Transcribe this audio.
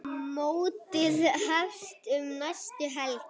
Mótið hefst um næstu helgi.